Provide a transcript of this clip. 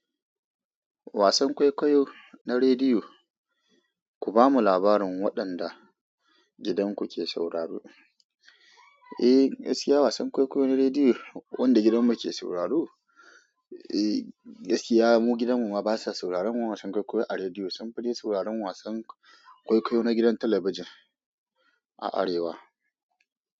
Wasan kwaikwayo na rediyo, ku bamu labarin waɗanda gidanku ke sauraro. Eh, gaskiya wasan kwaikwayo na rediyo wanda gidanmu ke sauraro? Eh, yanzu iya mu gidanmu ma basa sauraron wasan kwaikwayo a rediyo, sunfi dai sauraron wasan kwaikwayo na gidan talabijin a arewa.